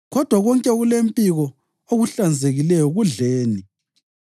Kodwa konke okulempiko okuhlanzekileyo kudleni.